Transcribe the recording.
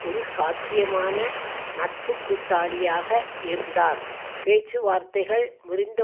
ஒரு சாத்தியமான நட்புகூட்டாளியாக இருந்தார் பேச்சுவார்த்தைகள் முறிந்த